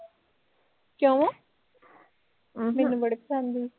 ਕਿਓ ਅਹ ਮੈਨੂੰ ਬੜੇ ਪਸੰਦ ਸੀ